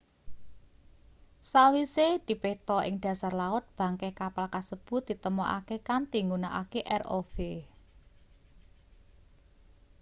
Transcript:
sawise dipetha ing dhasar laut bangke kapal kasebut ditemokake kanthi nggunakake rov